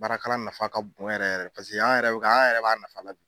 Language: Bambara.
Baarakalan nafa ka bon yɛrɛ yɛrɛ le paseke an yɛrɛ bi ka an yɛrɛ b'a nafa la bi